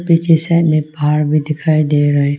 पीछे साइड में पहाड़ भी दिखाई दे रहे--